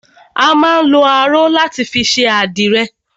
A má ń lọ aró láti fi ṣe àdìrẹ